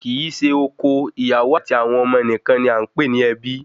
Kì í se oko, ìyàwó àti àwọn ọmọ nìkan ni à ń pè ní ẹbí